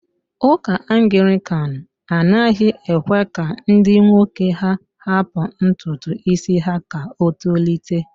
Ụka Anglican anaghị ekwe ka ndi nwoke ha hapụ ntutu isi ha ka o tolite.